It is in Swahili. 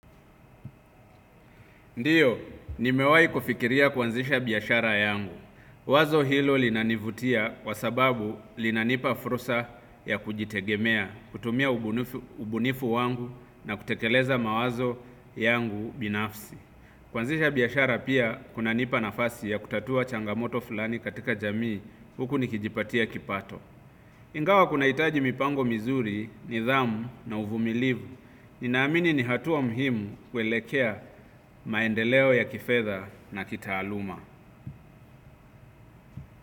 Ndiyo, nimewahi kufikiria kuanzisha biashara yangu. Wazo hilo linanivutia kwa sababu linanipa fursa ya kujitegemeakutumia ubunifu wangu na kutekeleza mawazo yangu binafsi kuanzisha biashara pia kunanipa nafasi ya kutatua changamoto fulani katika jamii, huku nikijipatia kipato. Ingawa kunahitaji mipango mizuri, nidhamu na uvumilivu. Ninaamini ni hatua muhimu kuelekea maendeleo ya kifedha na kitaaluma.